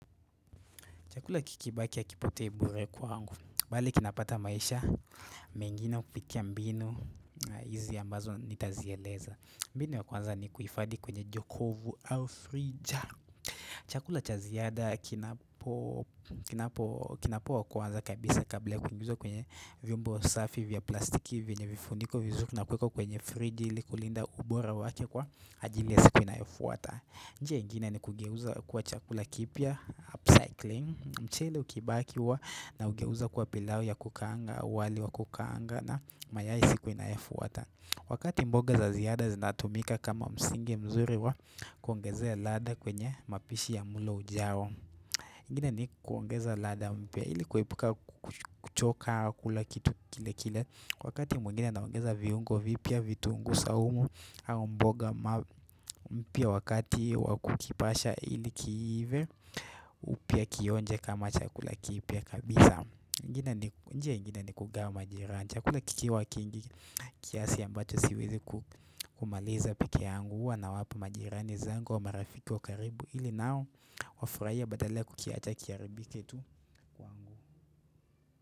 Chakula kikibaki akipotei bure kwangu. Bale kinapata maisha, mengine kupitia mbinu, e izi ambazo nitazieleza. Mbinu ya kwanza ni kuhifadhi kwenye Jokovu au frija. Chakula cha ziada kinapo kinapo kinapoa kwanza kabisa kabla ya kukimbizwa kwenye vyombo safi vya plastiki vyenye vifuniko vizur na kuwekwa kwenye friji ili kulinda ubora wake kwa ajili ya siku inayofuata. Njia ingine ni kugeuza kuwa chakula kipya, upcycling. Mchele ukibaki huwa naugeuza kuwa pilau ya kukaanga, wali wa kukaanga na mayai siku inayofuata. Wakati mboga za ziada zinatumika kama msingi mzuri wa kuongezea ladha kwenye mapishi ya mulo ujao. Ingine ni kuongeza ladha mpya ili kuepuka ku kuch kuchoka kula kitu kile kile kwa wakati mwengine naongeza viungo vipya vituungu saumu, au mboga ma mpya wakati wakukipasha ili kiive, upia kionje kama chakula kipia kabisa. Ingi ingine nik njia ingine ni kugawa majiranji. Chakula kikiwa kingi, kiasi ambacho siwezi ku kumaliza pekee yangu, huwa nawapa majirani zangu, marafiki wakaribu ili nao wafuraie badala ya kukiacha kiaribike tu, kwangu.